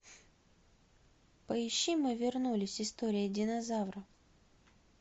поищи мы вернулись история динозавров